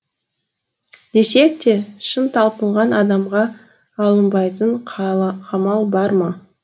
десек те шын талпынған адамға алынбайтын қамал бар ма